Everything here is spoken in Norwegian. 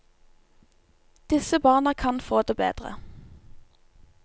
Disse barna kan få det bedre.